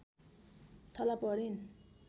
थला परिन्